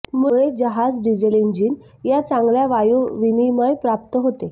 मुळे जहाज diesel engine या चांगल्या वायू विनिमय प्राप्त होते